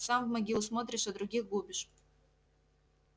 сам в могилу смотришь а других губишь